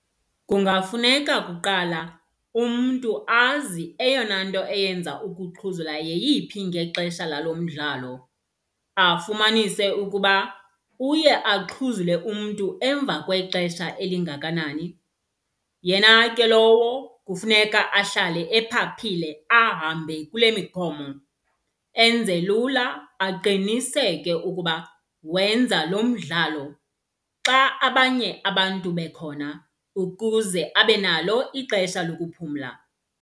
Kungafuneka kuqala umntu azi eyona nto eyenza ukuxhuzula yeyiphi ngexesha lalo mdlalo. Afumanise ukuba uye axhuzule umntu emva kwexesha elingakanani. Yena ke lowo kufuneka ahlale ephaphile ahambe kule miqomo. Enze lula aqiniseke ukuba wenza lo mdlalo xa abanye abantu bekhona ukuze abe nalo ixesha lokuphumla.